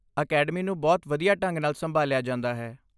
Academy ਨੂੰ ਬਹੁਤ ਵਧੀਆ ਢੰਗ ਨਾਲ ਸੰਭਾਲਿਆ ਜਾਂਦਾ ਹੈ।